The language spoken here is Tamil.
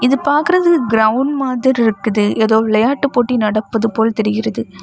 இது பாக்குறது கிரவுண்ட் மாதிரிருக்குது ஏதோ விளையாட்டு போட்டி நடப்பது போல் தெரிகிறது.